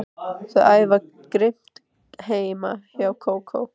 Þau æfa grimmt heima hjá Kókó.